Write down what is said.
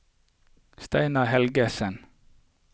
Steinar Helgesen